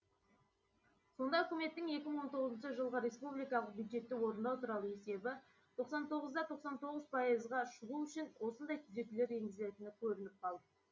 сонда үкіметтің екі мың он тоғызыншы жылғы республикалық бюджетті орындау туралы есебі тоқсан тоғыз да тоқсан тоғыз пайызға шығу үшін осындай түзетулер енгізілетіні көрініп қалды